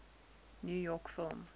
new york film